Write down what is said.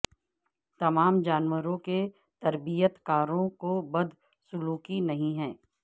تمام جانوروں کے تربیت کاروں کو بدسلوکی نہیں ہے